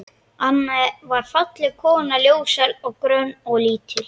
Anna var falleg kona, ljóshærð, grönn og lítil.